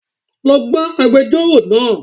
Lo bá agbejórò náà